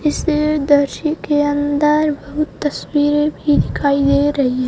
इस दर्शी के अंदर बहुत तस्वीर भी दिखाई दे रही----